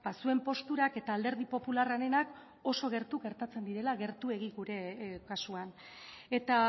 zuen posturak eta alderdi popularrarenak oso gertu gertatzen direla gertuegi gure kasuan eta